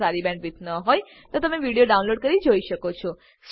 જો તમારી પાસે સારી બેન્ડવિડ્થ ન હોય તો તમે વિડીયો ડાઉનલોડ કરીને જોઈ શકો છો